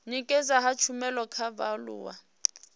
nekedzwa ha tshumelo kha vhaaluwa